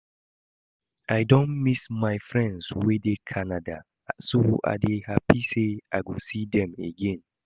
I don miss my friends wey dey Canada so I dey happy say I go see dem again